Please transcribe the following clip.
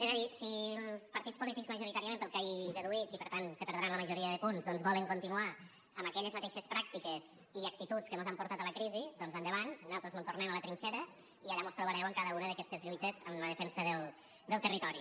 és a dir si els partits polítics majoritàriament pel que he deduït i per tant se perdran la majoria de punts volen continuar amb aquelles mateixes pràctiques i actituds que mos han portat a la crisi doncs endavant nosaltres mos en tornem a la trinxera i allà mos trobareu en cada una d’aquestes lluites en la defensa del territori